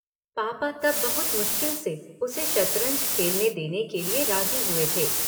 पापा तब बहुत मुश्किल से उसे शतरंज खेलने देने के लिए राजी हुए थे।